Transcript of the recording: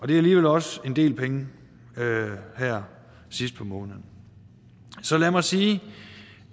det er alligevel også en del penge her sidst på måneden så lad mig sige